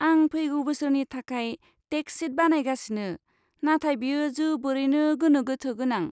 आं फैगौ बोसोरनि थाखाय टेक्स शिट बानायगासिनो, नाथाय बेयो जोबोरैनो गोनो गोथो गोनां।